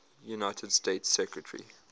united states secretary